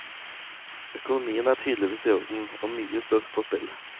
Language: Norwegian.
Økonomien er tydeligvis i orden, og mye står på spill.